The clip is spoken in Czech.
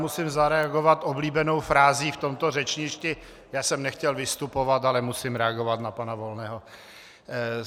Musím zareagovat oblíbenou frází v tomto řečništi: Já jsem nechtěl vystupovat, ale musím reagovat na pana Volného.